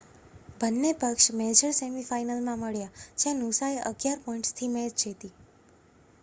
બન્ને પક્ષ major semi final માં મળ્યા જ્યાં નુસાએ 11 પોઈન્ટ્સ થી મૅચ જીતી